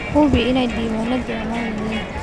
Hubi in diiwaanadu ammaan yihiin.